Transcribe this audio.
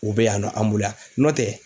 U bɛ yan nɔ an bolo yan n'ɔ tɛ